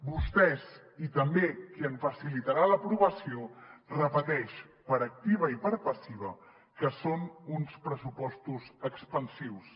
vostès i també qui en facilitarà l’aprovació repeteixen per activa i per passiva que són uns pressupostos expansius